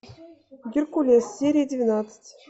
геркулес серия двенадцать